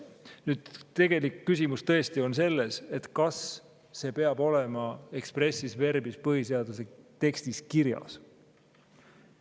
Nüüd, tegelik küsimus tõesti on selles, et kas see peab olema expressis verbis põhiseaduse tekstis kirjas.